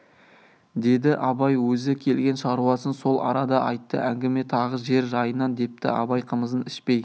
деді абай өзі келген шаруасын сол арада айтты әңгіме тағы жер жайынан депті абай қымызын ішпей